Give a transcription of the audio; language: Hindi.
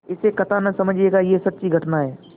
इसे कथा न समझिएगा यह सच्ची घटना है